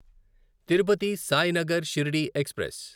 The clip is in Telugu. తిరుపతి సాయినగర్ షిర్డీ ఎక్స్ప్రెస్